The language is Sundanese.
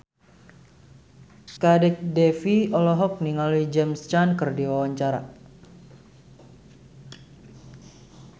Kadek Devi olohok ningali James Caan keur diwawancara